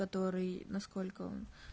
который насколько он